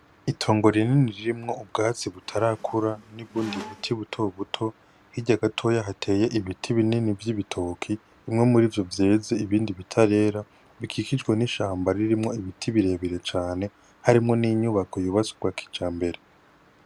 Itongo rinini ririmwo ubwatsi butarakura n'ubundi buti buto buto, hirya gatoya hateye ibiti binini vy'ibitoke, bimwe muri vyo vyeze ibindi bitarera bikikijwe n'ishamba ririmwo ibiti birebire cane, harimwo n'inyubako yubatswe bwa kijambere.